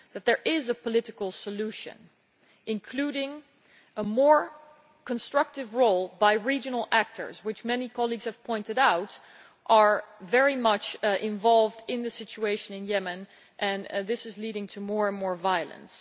But there is a political solution, including a more constructive role by regional actors, which as many colleagues have pointed out are very much involved in the situation in Yemen, leading to more and more violence.